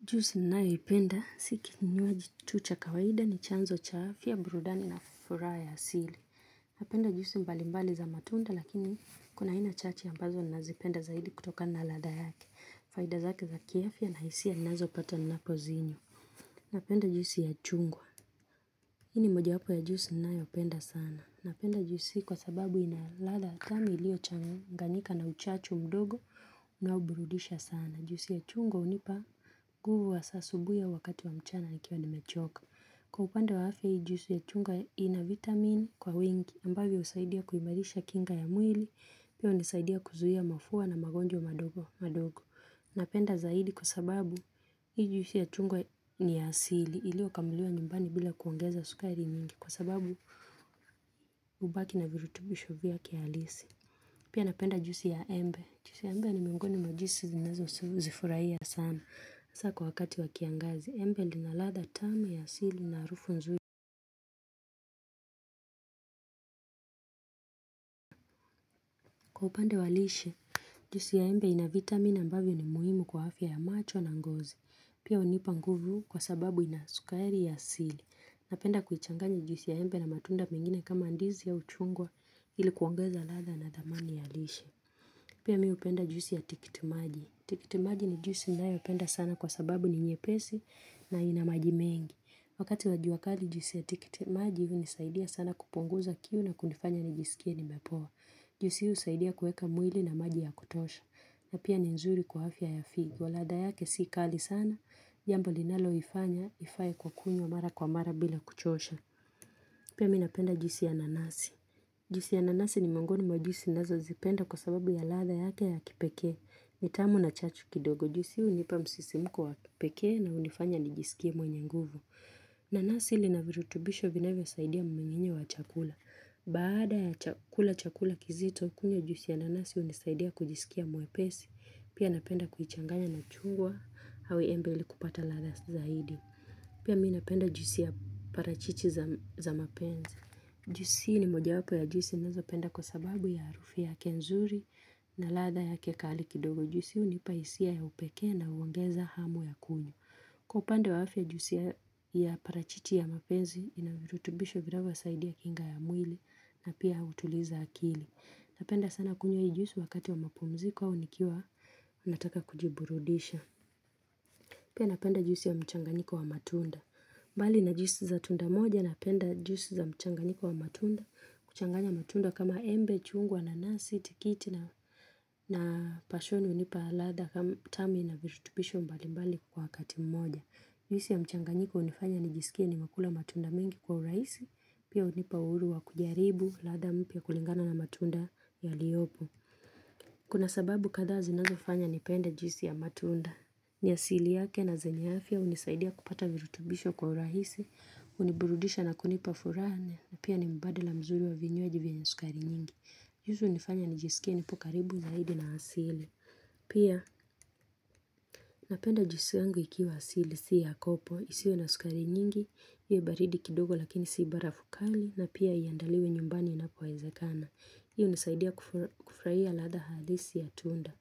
Juisi naoipenda, si kinjwaji tu cha kawaida ni chanzo cha afya, burudani na furaha ya asili. Napenda juisi mbalimbali za matunda lakini kuna hina chache ambazo nazipenda zaidi kutokana na ladha yake. Faida zake za kiafya na hisia ninazopata napozinywa. Napenda juzi ya chungwa. Hii ni mojawapo ya juisi ninayoipenda sana. Napenda juisi kwa sababu ina ladha tamu ilio changanyika na uchachu mdogo na huburudisha sana. Na juisi ya chungwa hunipa nguvu hasa asubuhi, au wakati wa mchana nikiwa nimechoka. Kwa upande wa afya hii juisi ya chungwa ina vitamin kwa wingi ambao husaidia kuimarisha kinga ya mwili Pia hunisaidia kuzuia mafua na magonjwa mandogo Napenda zaidi kwa sababu hii juisi ya chungwa ni ya asili iliyokamuliwa nyumbani bila kuongeza sukari mingi Kwa sababu hubaki na virutubusho vyake halisi. Pia napenda juisi ya embe, Juisi ya embe ni miongoni mwa juisi nazozifurahia sana hasa kwa wakati wa kiangazi. Embe lina latha tamu ya asili na harufu nzuri. Kwa upande wa lishe, juisi ya embe ina vitamini ambavyo ni muhimu kwa afya ya macho na ngozi. Pia hunipa nguvu kwa sababu ina sukari ya asili Napenda kuichangani juisi ya embe na matunda mengine kama ndizi na chungwa ili kuongeza latha na dhamani ya lishe. Pia mi hupenda juisi ya tikitimaji. Tikitimaji ni juisi naipenda sana kwa sababu ni nyepesi na ina maji mengi. Wakati wa jua kali juisi ya tikitimaji hunisaidia sana kupunguza kiu na kunifanya nijiskie nimepoa. Juisi hii husaidia kueka mwili na maji ya kutosha. Na pia ni nzuri kwa afya ya figo. Ladha yake si kali sana. Jambo linaloifanya, ifae kwa kunywa mara kwa mara bila kuchosha. Pia mi napenda juisi ya nanasi. Juisi ya nanasi ni miongoni mwa juisi nazozipenda kwa sababu ya latha yake ya kipekee ni tamu na chachu kidogo. Juisi hii hunipa msisimko wa kipekee na hunifanya nijiskie mwenye nguvu. Nanasi lina virutubisho vinavyosaidia mnyinginyo wa chakula. Baada ya chakula chakula kizito, kunywa juisi ya nanasi hunisaidia kujiskia mwepesi. Pia napenda kuichanganya na chungwa, au embe ili kupata latha zaidi. Pia mi napenda juisi ya parachichi za mapenze. Juisi ni mojawapo ya juisi nazopenda kwa sababu ya harufi yake nzuri na latha ya kikali kidogo. Juisi hunipa hisia ya upekee na uongeza hamu ya kunywa. Kwa upande wa afya juisi ya parachiti ya mapenzi inavirutubisho vinavyosaidia kinga ya mwili na pia hutuliza akili. Napenda sana kunywa hii juisi wakati wa mapumziko au nikiwa unataka kujiburudisha. Pia napenda juisi ya mchanganyiko wa matunda. Mbali na juisi za tunda moja napenda juisi za mchanganyiko wa matunda. Kuchanganya matunda kama embe chungwa na nasi, tikiti na pashoni hunipa ladha kama tano na virutubisho mbalimbali kwa wakati mmoja. Juisi ya mchanganyiko hunifanya nijiskie nimekula matunda mengi kwa urahisi. Pia hunipa uhuru wa kujaribu ladha mpya kulingana na matunda yaliopo. Kuna sababu kadhaa zinazofanya nipende juisi ya matunda. Ni asili yake na zenye afya hunisaidia kupata virutubisho kwa urahisi, huniburudisha na kunipa furaha, na pia ni mubadala mzuri wa vinywaji vyenye sukari nyingi. Juisi hunifanya nijisikie nipo karibu zaidi na asili. Pia napenda juisi yangu ikiwa asili si ya kopo, isiwe na sukari nyingi, iwe baridi kidogo lakini siibara fukali, na pia iandaliwe nyumbani inapowezekana. Hii hunisaidia kufurahia ladha halisi ya tunda.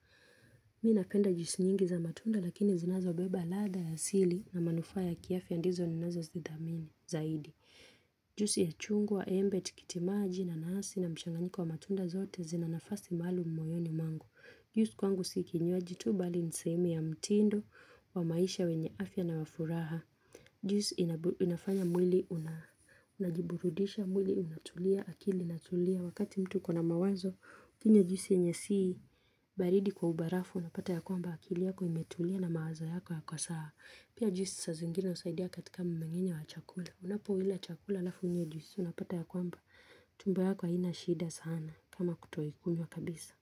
Mi napenda juisi nyingi za matunda lakini zinazobeba ladha ya asili na manufaa ya kiafya ndizo ninazozidhamini zaidi Juisi ya chungwa, embe, tikitimaji na nasi na mchanganyiko wa matunda zote zina nafasi maalum moyoni mwangu. Juisi kwangu si kinywaji tu bali ni sehemu ya mtindo wa maisha wenye afya na wa furaha Juisi inafanya mwili unajiburudisha, mwili unatulia, akili inatulia, Wakati mtu kuna mawazo, unapata ya kwamba akili yako imetulia na mawazo yako yako sawa. Pia juisi saa zingine husaidia katika mmenginye wa chakula. Unapoila chakula alafu unywe juisi, unapata ya kwamba. Tumbo yako haina shida sana kama kutoikunywa kabisa.